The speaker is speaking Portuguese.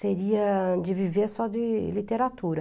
Seria de viver só de literatura.